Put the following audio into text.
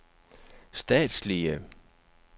statslige